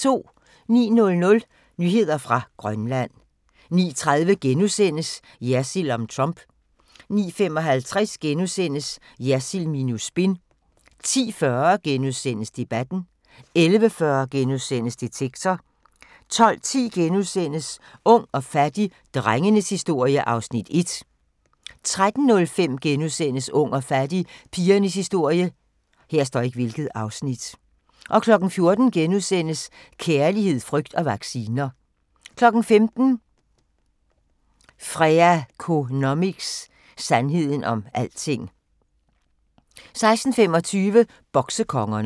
09:00: Nyheder fra Grønland 09:30: Jersild om Trump * 09:55: Jersild minus spin * 10:40: Debatten * 11:40: Detektor * 12:10: Ung og fattig - drengenes historie (Afs. 1)* 13:05: Ung og fattig – pigernes historie * 14:00: Kærlighed, frygt og vacciner * 15:00: Freakonomics – sandheden om alting 16:25: Boksekongerne